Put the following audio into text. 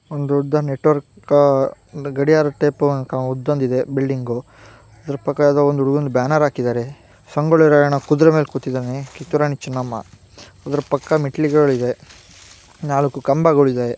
ಒಂದು ದೊಡ್ಚ್ ನೆಟ್ವರ್ಕ್ ಗಡಿಯಾರ ಟೈಪ್ ಒಡದಿಂದೆ ಬಿಲ್ಡಿಂಗು ಇದರ ಪಕ್ಕ ಒಂದು ಬ್ಯಾನರ್ ಹಾಕಿದ್ದಾರೆ. ಸಂಗೊಳ್ಳಿ ರಾಯಣ್ಣ ಕುದ್ರೆ ಮೇಲೆ ಕೋತಿದ್ದಾನೆ ಕಿತ್ತೂರ್ ರಾಣಿ ಚನ್ನಮ್ಮ ಅದರ ಪಕ್ಕ ಮೆಟಲ್ ಗಳಿವೇ ನಾಲ್ಕು ಖಂಬಾಗಳಿದವೇ .